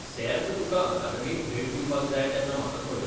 सेर्त, तुका अकादेमीक भेट दिवपाक जाय तेन्ना म्हाका कळय.